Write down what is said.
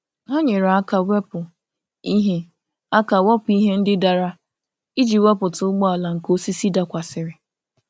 Ha nyere aka wepụ ihe aka wepụ ihe ndị dara iji wepụta ụgbọala nke osisi dakwasịrị.